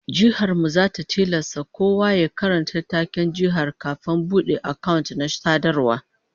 Jihar mu zata tilasta kowa ya karanta taken jihar kafin ya bude account na sadarwa